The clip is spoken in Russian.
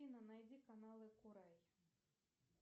афина найди каналы курай